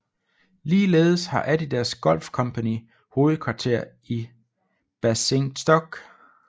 Ligeledes har Adidas Golf Company hovedkvarter i Basingstoke